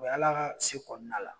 O e y'ala ka se kɔnɔna la